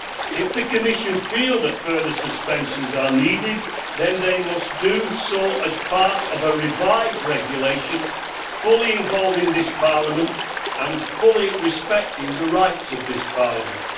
If the Commission feels that further suspensions are needed, then they must be made part of a revised regulation, fully involving this Parliament and fully respecting the rights of this Parliament.